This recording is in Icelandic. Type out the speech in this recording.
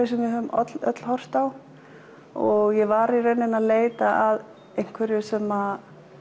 sem við höfum öll horft á ég var að leita að einhverju sem